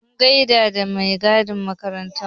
Mun gaida da mai gadin makarantar.